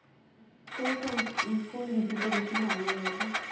তোর কোন কোন ঋতু টা বেশি ভাল লাগে?